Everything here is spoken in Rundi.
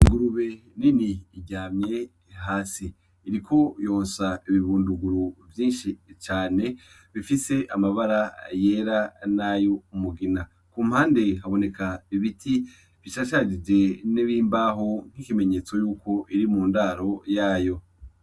Igurube nini iryamye hasi, iriko yonsa ibibunduguru vyinshi cane bifise amabara yera nay'umugina, ku mpande haboneka ibiti bicasharije N’imbaho nk'ikimenyetso yuko iri mu ndaro yayo.